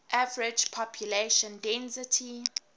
average population density